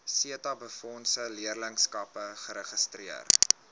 setabefondse leerlingskappe geregistreer